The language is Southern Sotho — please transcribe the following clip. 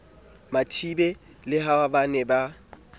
mathibe le ha ba ne